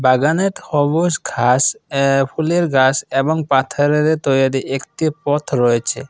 বাগানে সবুজ ঘাস এ ফুলের গাছ এবং পাথারের তৈয়ারি একটি পথ রয়েছে।